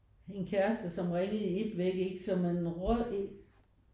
En kæreste som ringede i et væk ikke så man røg